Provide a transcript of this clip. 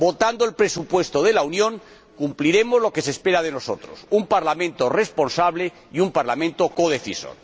Votando el presupuesto de la Unión cumpliremos lo que se espera de nosotros un Parlamento responsable y un Parlamento codecisor.